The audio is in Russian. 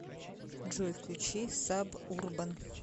джой включи саб урбан